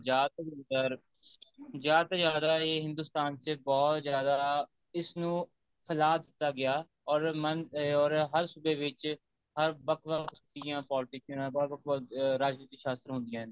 ਜਿਆਦਾ ਤੋਂ ਜਿਆਦਾ ਜਿਆਦਾ ਤੋਂ ਜਿਆਦਾ ਇਹ ਹਿੰਦੁਸਤਾਨ ਚ ਬਹੁਤ ਜਿਆਦਾ ਇਸਨੂੰ ਫੈਲਾ ਦਿੱਤਾ ਗਿਆ or ਹਰ ਸੂਬੇ ਵਿੱਚ ਹਰ ਵੱਖ ਵੱਖ ਤਰ੍ਹਾਂ ਦੀਆਂ politician ਵੱਖ ਵੱਖ ਰਾਜਨੀਤੀ ਸ਼ਾਸ਼ਤਰ ਹੁੰਦੀਆਂ ਨੇ